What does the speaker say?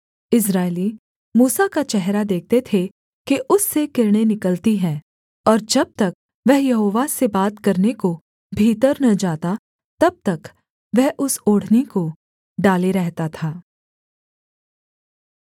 इस्राएली मूसा का चेहरा देखते थे कि उससे किरणें निकलती हैं और जब तक वह यहोवा से बात करने को भीतर न जाता तब तक वह उस ओढ़नी को डाले रहता था